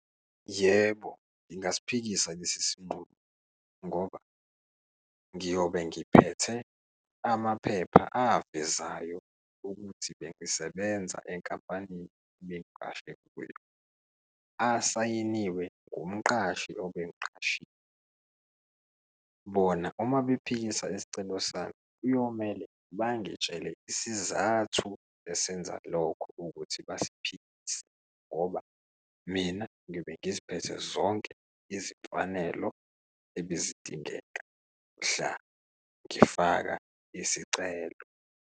Yebo, ngingasiphikisa lesi sinqumo ngoba ngiyobe ngiphethe amaphepha avezayo ukuthi bengisebenza enkampanini ebengiqashwe kuyo, asayiniwe ngumqashi obengiqashile. Bona uma bephikisa isicelo sami kuyomele bangitshele isizathu esenza lokho ukuthi basiphikise ngoba mina ngiyobe ngiziphethe zonke izimfanelo ebezidingeka mhla ngifaka isicelo.